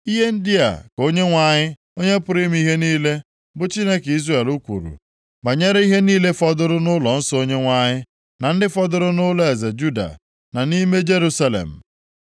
E, ihe ndị a ka Onyenwe anyị, Onye pụrụ ime ihe niile bụ Chineke Izrel kwuru banyere ihe niile fọdụrụ nʼụlọnsọ Onyenwe anyị, na ndị fọdụrụ nʼụlọeze Juda na nʼime Jerusalem.